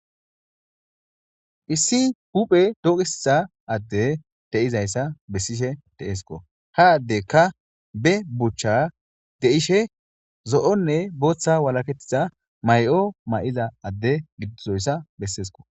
Issi huphe dooqissa adde de7izayssa bessishe deeesko ha addekka be buchcha deishe zo'onne booththa walakettiza may7o may7iza adde giddizoyssa besseesko.